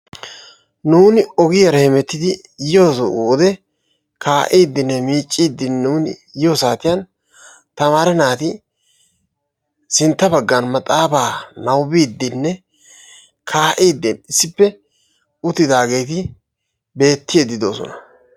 nuuni ogiyara hemmetidi yiyode kaa'idi hemetiidi yiyode tamaare naati maaxaafaa nababiidi diyageeti beetoosona.